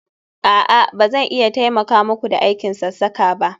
a'a, ba zan iya taimaka muku da aikin sassaka ba